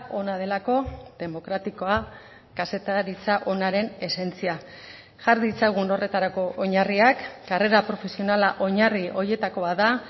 ona delako demokratikoa kazetaritza onaren esentzia jar ditzagun horretarako oinarriak karrera profesionala oinarri horietako bat da